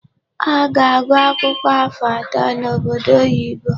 Ọ ga-agụ akwụkwọ afọ atọ n'obodo oyibo.